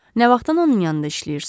Nə vaxtdan onun yanında işləyirsiz?